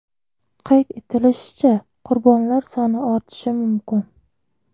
Qayd etilishicha, qurbonlar soni ortishi mumkin.